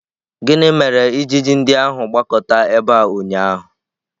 Gịnị mere ijiji ndị ahụ gbakọta ebe a ụnyaahụ?